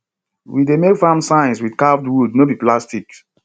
we dey make farm signs with carved wood no be plastic